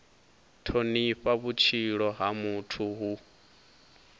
thonifha vhutshilo ha muthu hu